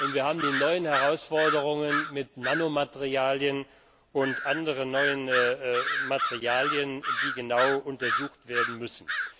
Und wir haben die neuen Herausforderungen mit Nanomaterialien und anderen neuen Materialien, die genau untersucht werden müssen.